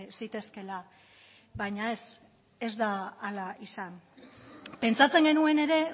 zitezkela baina ez ez da hala izan pentsatzen genuen ere